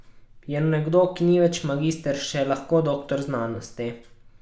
Je nekdo, ki ni več magister, še lahko doktor znanosti?